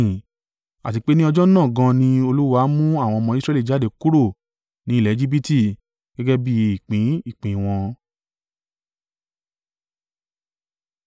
Àti pé ní ọjọ́ náà gan an ni Olúwa mú àwọn ọmọ Israẹli jáde kúrò ní ilẹ̀ Ejibiti gẹ́gẹ́ bí ìpín ìpín wọn.